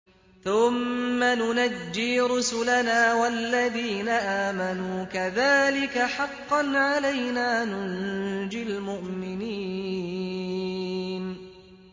ثُمَّ نُنَجِّي رُسُلَنَا وَالَّذِينَ آمَنُوا ۚ كَذَٰلِكَ حَقًّا عَلَيْنَا نُنجِ الْمُؤْمِنِينَ